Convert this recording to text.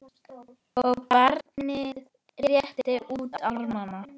og barnið réttir út arma